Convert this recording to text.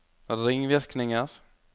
ringvirkninger